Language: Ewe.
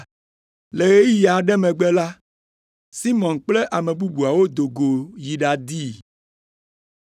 Le ɣeyiɣi aɖe megbe la, Simɔn kple ame bubuawo do go yi ɖadii.